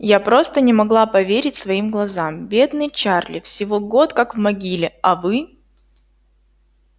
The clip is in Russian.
я просто не могла поверить своим глазам бедный чарли всего год как в могиле а вы